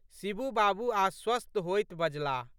शिबू बाबू आश्वस्त होइत बजलाह।